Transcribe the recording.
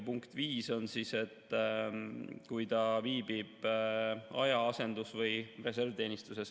Punkt 5 on see, kui ta viibib aja‑, asendus‑ või reservteenistuses.